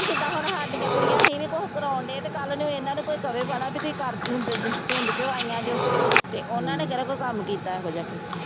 ਜਿੱਦਾਂ ਹੁਣ ਸਾਡੀਆਂ ਕੁੜੀਆਂ ਅਸੀਂ ਨੀ ਕੁਛ ਕਰਵਾਉਣਡੇ ਤੇ ਕੱਲ੍ਹ ਨੂੰ ਇਹਨਾਂ ਨੂੰ ਕੋਈ ਕਵੇ ਵੀ ਤੁਸੀਂ ਕਰ ਪਿੰਡ ਚੋਂ ਆਈਆਂ ਜੇ ਤੇ ਉਹਨਾਂ ਨੇ ਕਿਹੜਾ ਕੋਈ ਕੰਮ ਕੀਤਾ ਇਹੋ ਜਿਹਾ ਕੋਈ।